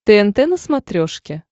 тнт на смотрешке